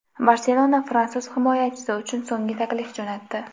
"Barselona" fransuz himoyachisi uchun so‘nggi taklif jo‘natdi.